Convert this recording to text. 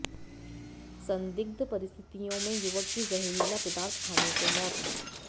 संदिग्ध परिस्थितियों में युवक की जहरीला पदार्थ खाने से मौत